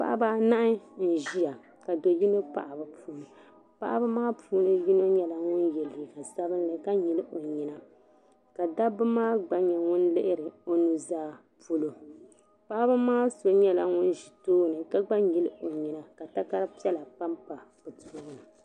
Paɣiba anahi n-ʒia ka do' yino pahi bɛ puuni. Paɣiba maa puuni yino nyɛla ŋun ye liiga sabilinli ka nyili o nyina ka doo maa gba nyɛ ŋun lihiri o nuzaa polo. Paɣiba maa so nyɛla ŋun ʒi tooni ka gba nyili o nyina ka takar' piɛla pampa o tooni.